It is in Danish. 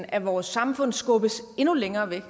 af vores samfund skubbes endnu længere væk